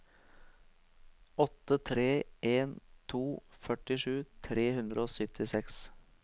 åtte tre en to førtisju tre hundre og syttiseks